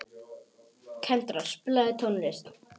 Kendra, spilaðu tónlist.